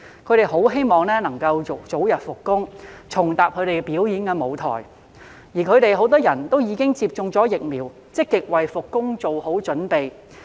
他們很希望能夠早日復工，重踏表演舞台，而他們很多已經接種疫苗，積極為復工做好準備。